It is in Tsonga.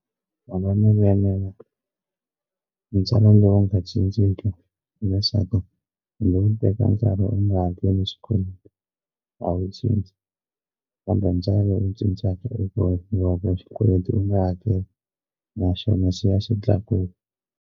Mavonelo ya mina ntswalo lowu nga cinciki hileswaku kumbe u yi teka nkarhi u nga hakeli xikweleti a wu cinci va nga u cincaka i ku va xikweleti u nga hakeli naxona xi ya xi tlakuka.